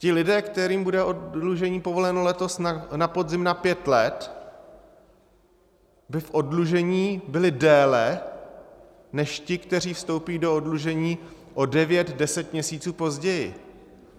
Ti lidé, kterým bude oddlužení povoleno letos na podzim na pět let, by v oddlužení byli déle než ti, kteří vstoupí do oddlužení o devět, deset měsíců později.